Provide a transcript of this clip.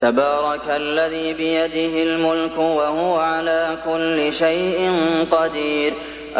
تَبَارَكَ الَّذِي بِيَدِهِ الْمُلْكُ وَهُوَ عَلَىٰ كُلِّ شَيْءٍ قَدِيرٌ